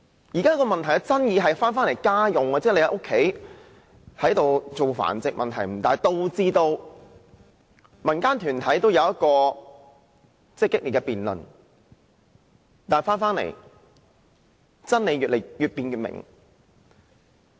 現時問題的爭議是，當局認為在住家進行狗隻繁殖問題不大，導致民間團體有激烈的辯論，但真理越辯越明。